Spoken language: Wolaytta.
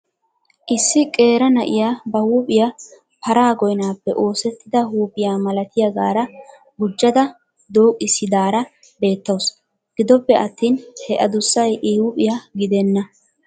Issi qeera na'iya ba huuphiya paraa goyinaappe oosettida huuphiya malatiyagaara gujjada dooqissidaara beettawusu. Gidoppe attin he adussay I huuphiya gidenna.